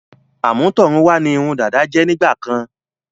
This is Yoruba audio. Àmútọ̀run wá ní irun dada jẹ́ nígbàkan.